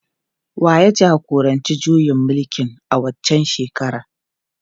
Wa ya jagoranci juyin mulkin a waccan shekarar?